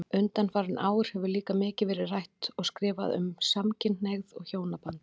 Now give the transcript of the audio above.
Undanfarin ár hefur líka mikið verið rætt og skrifað um samkynhneigð og hjónaband.